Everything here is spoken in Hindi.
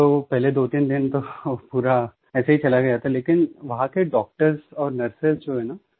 तब तो पहले दोतीन दिन पूरा ऐसे ही चला गया था लेकिन वहाँ के डॉक्टर्स और नर्सेस जो है न